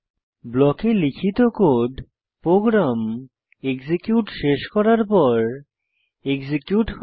ব্লকে লিখিত code program execute শেষ করার পর এক্সিকিউট হয়